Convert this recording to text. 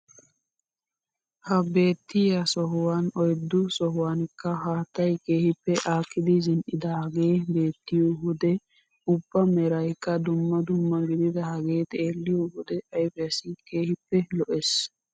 Ha beettiyaa sohuwaan oyddu sohuwaanikka haattay keehippe aakidi zin"idagee beettiyoo wode ubbaa merayikka dumma dumma gididagee xeelliyo wode ayfiyaassi keehippe lo"ees.